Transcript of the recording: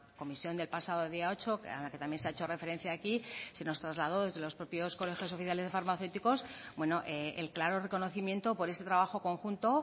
comisión del pasado día ocho a la que también se ha hecho referencia aquí se nos trasladó desde los propios colegios oficiales de farmacéuticos el claro reconocimiento por este trabajo conjunto